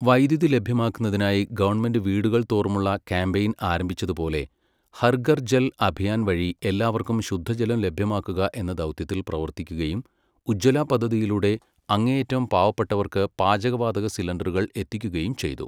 വൈദ്യുതി ലഭ്യമാക്കുന്നതിനായി government വീടുകൾതോറുമുള്ള campaign ആരംഭിച്ചതുപോലെ, ഹർഘർ Jal Abhiyan വഴി എല്ലാവർക്കും ശുദ്ധജലം ലഭ്യമാക്കുക എന്ന ദൗത്യത്തിൽ പ്രവർത്തിക്കുകയും ഉജ്ജ്വല പദ്ധതിയിലൂടെ അങ്ങേയറ്റം പാവപ്പെട്ടവർക്ക് പാചകവാതക സിലിണ്ടറുകൾ എത്തിക്കുകയും ചെയ്തു.